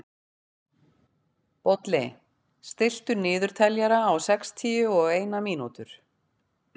Bolli, stilltu niðurteljara á sextíu og eina mínútur.